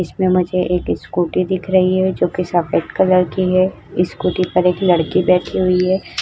इसमें मुझे एक स्कूटी दिख रही है जोकि सफेद कलर की है स्कूटी पर एक लड़की बैठी हुई हैं।